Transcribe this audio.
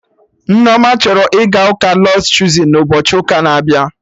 Nneoma chọrọ ịga ụka Lọds Chozun na ụbochi ụka na abịa